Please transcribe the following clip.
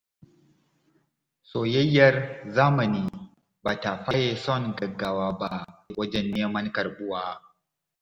Soyayyar zamani ba ta faye son gaggawa ba wajen neman karɓuwa.